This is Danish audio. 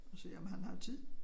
Og se om han har tid